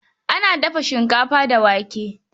Ana dafa shinkafa da wake.